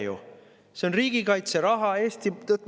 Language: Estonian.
Ei ole ju!